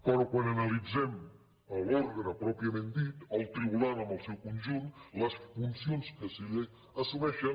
però quan analit·zem l’òrgan pròpiament dit el tribunal en el seu con·junt les funcions que se li assumeixen